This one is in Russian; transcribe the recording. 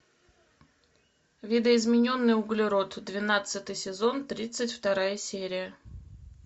видоизмененный углерод двенадцатый сезон тридцать вторая серия